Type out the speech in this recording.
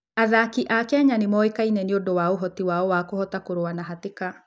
Athaki a Kenya nĩ moĩkaine nĩ ũndũ wa ũhoti wao wa kũhota kũrũa na hatĩka.